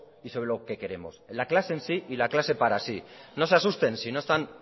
y sobre lo que queremos en la clase en sí y la clase para sí no se asusten si no están